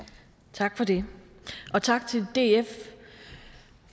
tak for det og tak til df